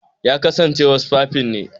Ya kasance wasfafin ne.